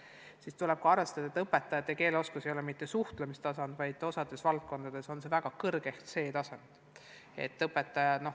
Seejuures tuleb arvestada, et õpetajate keeleoskusest ei pea piisama mitte lihtsalt suhtlemiseks, vaid osas valdkondades peab neil olema väga kõrge ehk C-tase.